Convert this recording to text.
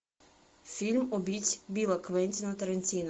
фильм убить билла квентина тарантино